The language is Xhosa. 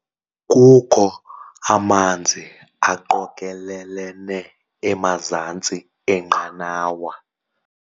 Kukho amanzi aqokelelene emazantsi enqanawa.